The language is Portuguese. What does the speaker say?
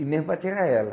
E mesmo para tirar ela.